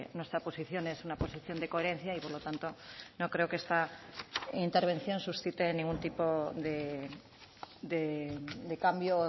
nuestra posición es una posición de coherencia y por lo tanto no creo que esta intervención suscite ningún tipo de cambio